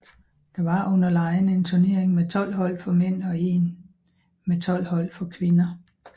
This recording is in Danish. Der var under legene en turnering med 12 hold for mænd og en med 12 hold for kvinder